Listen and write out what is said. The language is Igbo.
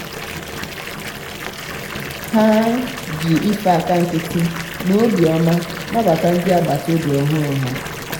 ha ji ife aka nkịtị na obiọma nabata ndị agbataobi ọhụrụ ha.